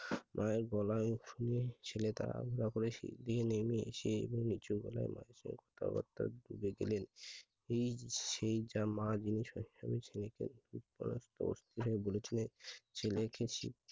মায়ের গলা শুনে ছেলেটা শিগগিরি নেমে এসে নিচু গলায় চোলে গেলেন সেই জামা যিনি বলেছিলেন ছেলেকে শিক্ষিত